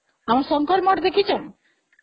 ଆମ ଶଙ୍କର ମଠ ଦେଖିଛ